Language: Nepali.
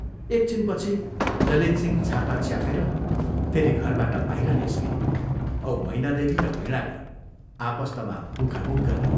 एक छिनपछि ललितसिंह छाता च्यापेर फेरि घरबाट बाहिर निस्के औ मैनादेवी र वीणाले आपस्तमा मुखामुख गरे।